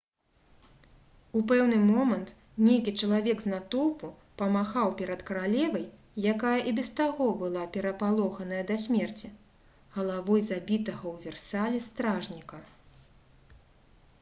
у пэўны момант нейкі чалавек з натоўпу памахаў перад каралевай якая і без таго была перапалоханая да смерці галавой забітага ў версалі стражніка